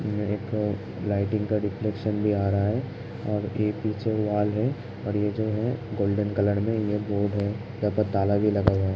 यह एक लाइटिंग का रिफ्लेक्शन भी आ रहा है। और एक पीछे वाल है और ये जो है गोल्डन कलर में ये बोर्ड है यहाँ पर ताला भी लगा हुआ है।